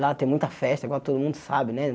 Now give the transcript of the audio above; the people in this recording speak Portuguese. Lá tem muita festa, igual todo mundo sabe, né?